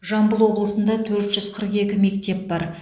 жамбыл облысында төрт жүз қырық екі мектеп бар